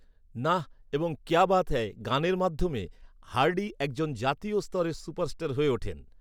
নাহ এবং কেয়া বাত অ্যায় গানের মাধ্যমে, হার্ডি একজন জাতীয় স্তরের সুপারস্টার হয়ে ওঠেন।